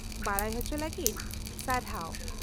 ᱼᱵᱟᱰᱟᱭ ᱦᱚᱪᱚ ᱞᱟᱹᱜᱤᱫ ᱥᱟᱨᱦᱟᱣ ᱾